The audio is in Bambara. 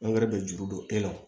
Angɛrɛ bɛ juru don e la